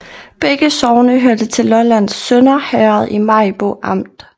Begge sogne hørte til Lollands Sønder Herred i Maribo Amt